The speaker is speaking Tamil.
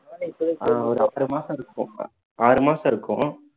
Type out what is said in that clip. ஆஹ் ஒரு ஆறு மாசம் இருக்கும் ஆறு மாசம் இருக்கும்